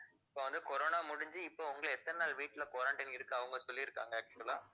இப்போ வந்து corona முடிஞ்சு இப்ப உங்களை எத்தன நாள் வீட்டுல quarantine இருக்கு அவங்க சொல்லிருக்காங்க actual ஆ